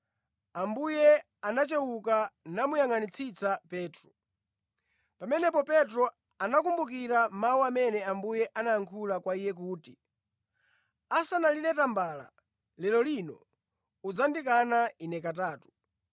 Ambuye anachewuka namuyangʼanitsitsa Petro. Pamenepo Petro anakumbukira mawu amene Ambuye anayankhula kwa iye kuti, “Asanalire tambala lero lino, udzandikana Ine katatu.”